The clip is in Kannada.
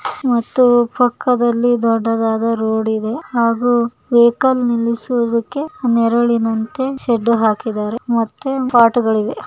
ಮತ್ತು ಪಕ್ಕದಲ್ಲಿ ದೊಡ್ಡದಾದ ರೋಡ್ ಇದೆ ಹಾಗೂ ಸೈಕಲ್ ನಿಲ್ಲಿಸುವುದಕ್ಕೆ ನೆರಳಿನ ಸೆಡ್ಡು ಹಾಕಿದ್ದಾರೆ ಮತ್ತೆ ಪಾಟು ಗಳಿವೆ